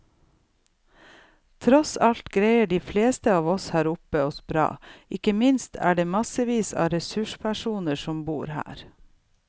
Tross alt greier de fleste av oss her oppe seg bra, og ikke minst er det massevis av ressurspersoner som bor her.